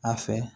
A fɛ